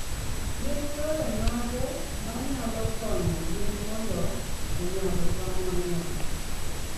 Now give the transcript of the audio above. Gin yore mage manyalo konyo gwen mondo onyag tong' mang'eny?